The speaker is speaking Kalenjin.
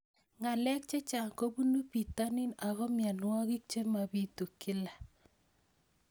Ng'alek chechang' kopunu pitonin ako mianwogik che mapitu kila